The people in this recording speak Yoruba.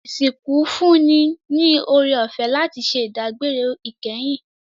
Isinku n fún ni oorẹ-ọfẹ láti ṣẹ idagbere ikẹhin